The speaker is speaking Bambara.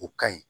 O ka ɲi